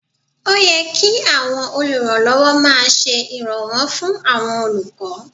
Ó yẹ kí àwọn olùrànlọ́wọ́ máa ṣe ìrànwọ́ fún àwọn olùkọ́